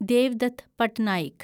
Devdutt Pattanaik